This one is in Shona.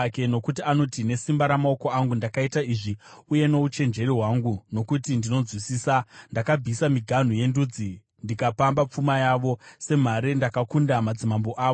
Nokuti iye anoti, “ ‘Nesimba ramaoko angu ndakaita izvi, uye nouchenjeri hwangu, nokuti ndinonzwisisa. Ndakabvisa miganhu yendudzi, ndikapamba pfuma yavo; semhare ndakakunda madzimambo avo.